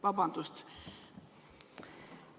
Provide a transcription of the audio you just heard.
Vabandust!